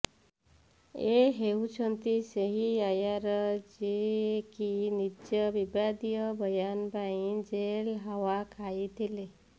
ଏ ହେଉଛନ୍ତି ସେହି ଆୟାର ଯିଏକି ନିଜ ବିବାଦୀୟ ବୟାନ ପାଇଁ ଜେଲ୍ର ହାୱା ଖାଇଥିଲେ